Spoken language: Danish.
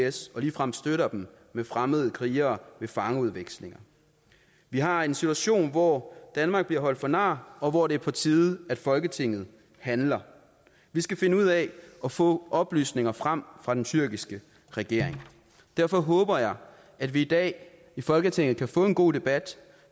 is og ligefrem støtter dem med fremmede krigere ved fangeudvekslinger vi har en situation hvor danmark bliver holdt for nar og hvor det er på tide at folketinget handler vi skal finde ud af at få oplysninger frem fra den tyrkiske regering derfor håber jeg at vi i dag i folketinget kan få en god debat